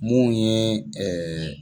Mun ye